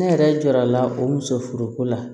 Ne yɛrɛ jɔrɔ la o muso furuko la